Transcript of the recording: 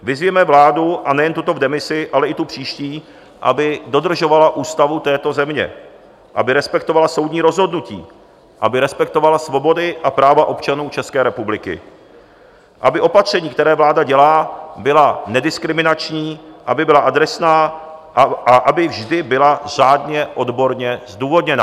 Vyzvěme vládu, a nejen tuto v demisi, ale i tu příští, aby dodržovala ústavu této země, aby respektovala soudní rozhodnutí, aby respektovala svobody a práva občanů České republiky, aby opatření, která vláda dělá, byla nediskriminační, aby byla adresná a aby vždy byla řádně odborně zdůvodněna.